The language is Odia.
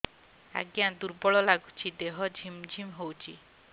ଆଜ୍ଞା ଦୁର୍ବଳ ଲାଗୁଚି ଦେହ ଝିମଝିମ ହଉଛି